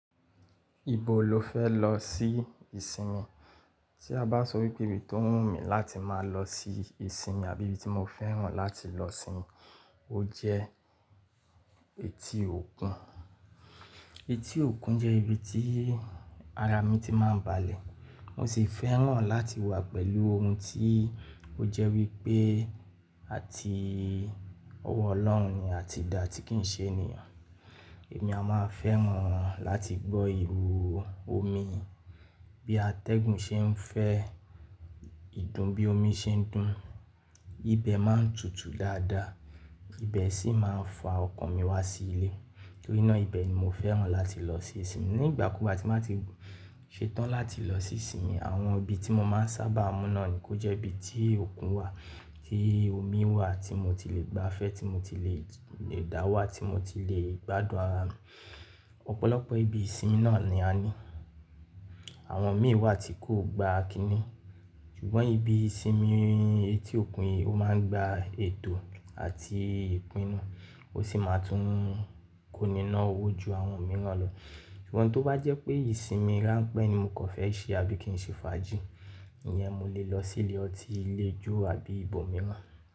Ibo lo fẹ́ lọ sí ìsinmi? Tí a bá sọ wípé ibi tó wù mí láti máa lọ sí ìsinmi àbí ibi tí mo fẹ́ràn láti lọ sinmi, ó jẹ́ etí òkun. Etí òkun jẹ́ ibi tí ara mi ti máa ń balẹ̀. Mo sì fẹ́ràn láti wà pẹ̀lú ohun tí ó jẹ́ wípé àti ọwọ́ Ọlọ́run ni a ti da tí kì ń ṣe ènìyàn. Èmi a máa fẹ́ràn láti gbọ́ ìhòò omi bí atẹ́gùn ṣe ń fẹ́, ìdún bí omi ṣe ń dún. Ibẹ̀ máa ń tutù dáadáa, ibẹ̀ sì máa ń fa ọkàn mi wá sí ilé. Nítorínà ibẹ̀ ni mo fẹ́ràn láti lọ se ìsinmi. Ní ìgbàkugbà ti n bá ti ṣetán láti lọ sí ìsinmi, àwọn ibi tí mo máa ń sábà mú náà ni kó jẹ́ ibi tí òkun wà, tí omi wà tí mo ti lè gbafẹ́, tí mo ti lè dáwà, tí mo ti lè gbádùn ara mi. Ọ̀pọ̀lọpọ̀ ibi ìsinmi náà ni a ní. Àwọn míì wà tí kò gba kiní. Ṣùgbọ́n ibi ìsinmi etí òkun, ó máa ń gba ètò àti ìpinnu, ó sì máa tún kóni ná owó ju àwọn mìíràn lọ. Ṣùgbọ́n tó bá jẹ́ pé ìsinmi ránpẹ́ ni mo kàn fẹ́ ṣe àbí kì í ṣe fàájì, ìyẹn mo lè lọ sí ilé ọtí, ilé ijó àbí ibò mìíràn.